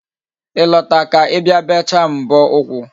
Ị lọta ka Ị bịa bechaa m mbọ ụkwụ